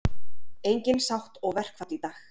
Engin sátt og verkfall í dag